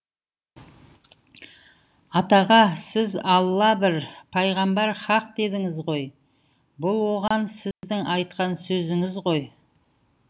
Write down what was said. атаға сіз алла бір пайғамбар хақ дедіңіз ғой бұл оған сіздің айтқан сөзіңіз ғой